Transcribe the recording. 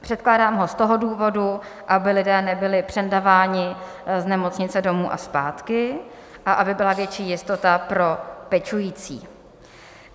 Předkládám ho z toho důvodu, aby lidé nebyli přendáváni z nemocnice domů a zpátky a aby byla větší jistota pro pečující.